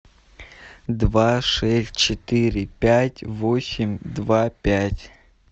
два шесть четыре пять восемь два пять